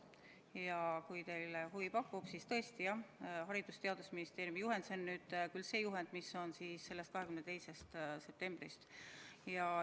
Ja kui teile huvi pakub, siis tõesti, Haridus- ja Teadusministeeriumi juhend – see on nüüd küll see juhend, mis on 22. septembrist.